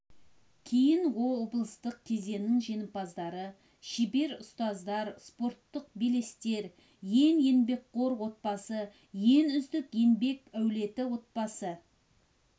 кейін облыстық кезеңнің жеңімпаздары шебер ұстаз спорттық белестер ең еңбекқор отбасы ең үздік еңбек әулеті отбасы